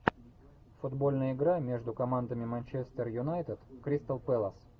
футбольная игра между командами манчестер юнайтед кристал пэлас